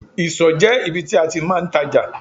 Ìsọ̀ jẹ́ ibi tí a ti máa ń tajà.